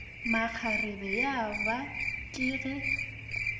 makgarebe ya ba ke ge